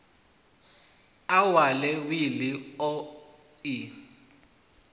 a wale wili o i